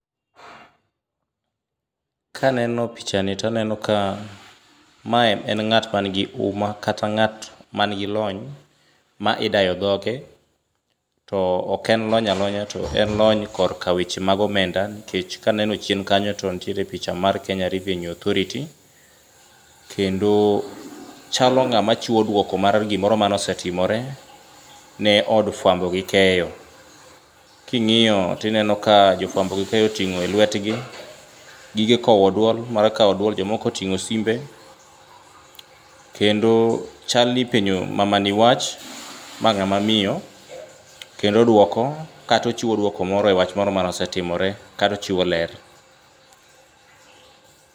Ka aneno picha ni to aneno ka ma en ng'at man gi huma kata ng'at man gi lony ma idayo dhoge to ok en lony aklonya to en lony e weche mag omenda nikech ka aneno chien kanyo to nitiere picha mar Kenya Revenue Authority, kendo chalo ng'ama chiwo duoko mar gimoro mane osetimore ni od fuambo gi keyo oting'o e lwetgi gige kowo duol mar kawo duol jomoko oting'o simbe kendo chal ni ipenjo mamani wach ma ng'ama miyo kendo oduoko. Kata ochiwo duoko moro ewach moro mane osetimore kata ochiwo ler.